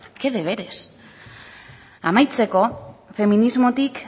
qué deberes amaitzeko feminismotik